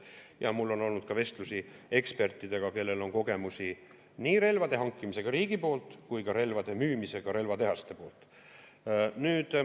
Ja mul on olnud vestlusi ekspertidega, kellel on kogemusi nii relvade hankimisega riigi poolt kui ka relvade müümisega relvatehaste poolt.